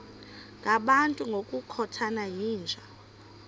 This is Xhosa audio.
ngabantu ngokukhothana yinja